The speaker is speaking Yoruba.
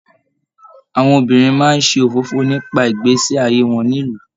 Àwọn obìnrin máa n ṣe òfófó nípa ìgbésẹ ayé wọn nílu.